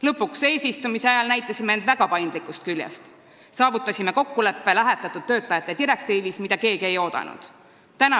Lõpuks näitasime end ju eesistumise ajal väga paindlikust küljest, kui saavutasime kokkuleppe lähetatud töötajate direktiivi puhul, mida keegi ei oodanud.